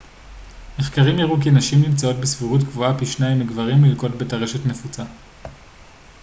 מחקרים הראו כי נשים נמצאות בסבירות גבוהה פי שניים מגברים ללקות בטרשת נפוצה